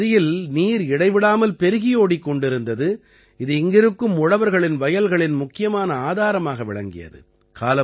இந்த நதியில் நீர் இடைவிடாமல் பெருகியோடிக் கொண்டிருந்தது இது இங்கிருக்கும் உழவர்களின் வயல்களின் முக்கியமான ஆதாரமாக விளங்கியது